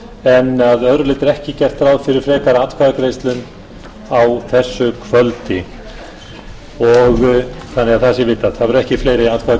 en að öðru leyti er ekki gert ráð fyrir frekari atkvæðagreiðslum á þessu kvöldi þannig að það sé vitað það verða ekki fleiri atkvæðagreiðslur í kvöld